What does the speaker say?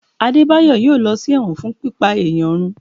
Adebayo a ló sí ẹwọ́n fún pipá eyán rùn